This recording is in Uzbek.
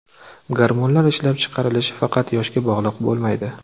Gormonlar ishlab chiqarilishi faqat yoshga bog‘liq bo‘lmaydi.